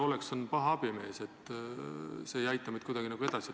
"Oleks" on paha abimees, see ei aita meid kuidagi edasi.